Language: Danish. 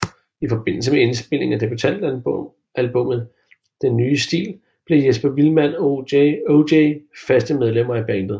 I forbindelse med indspilningen af debutalbummet Den Nye Stil blev Jesper Vildmand og OJ faste medlemmer i bandet